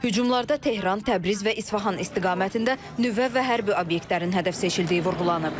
Hücumlarda Tehran, Təbriz və İsfahan istiqamətində nüvə və hərbi obyektlərin hədəf seçildiyi vurğulanıb.